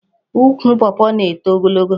Ukwu Pọọpọọ na-eto ogologo.